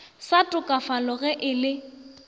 sa tokafalago ge e le